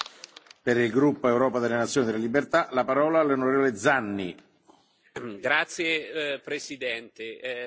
Signor Presidente, onorevoli colleghi,